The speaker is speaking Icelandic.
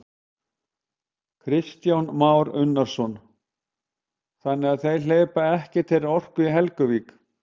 Kristján Már Unnarsson: Þannig að þeir hleypa ekkert þeirri orku í Helguvík?